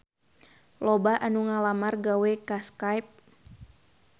Loba anu ngalamar gawe ka Skype